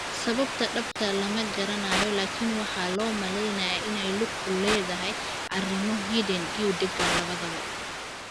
Sababta dhabta ah lama garanayo, laakiin waxaa loo maleynayaa inay ku lug leedahay arrimo hidde iyo deegaan labadaba.